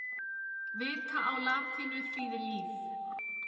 Vita á latínu þýðir líf.